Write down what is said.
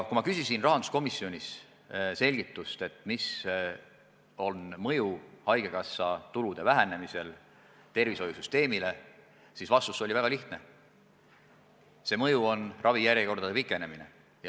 Kui ma küsisin rahanduskomisjonis selgitust, milline on haigekassa tulude vähenemise mõju tervishoiusüsteemile, siis vastus oli väga lihtne: see mõju on ravijärjekordade pikenemine.